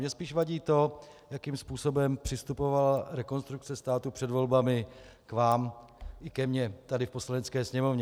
Mně spíš vadí to, jakým způsobem přistupovala Rekonstrukce státu před volbami k vám i ke mně tady v Poslanecké sněmovně.